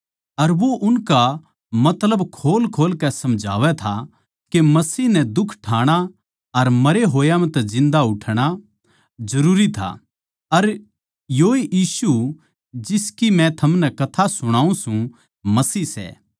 अर वो उनका मतलब खोलखोल कै समझावै था के मसीह नै दुख ठाणा अर मरे होया म्ह तै जिन्दा उठणा जरूरी था अर योए यीशु जिसकी मै थमनै कथा सुणाऊँ सूं मसीह सै